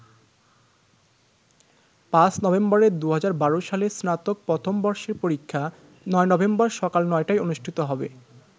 ৫ নভেম্বরের ২০১২ সালের স্নাতক প্রথম বর্ষের পরীক্ষা ৯নভেম্বর সকাল ৯টায় অনুষ্ঠিত হবে।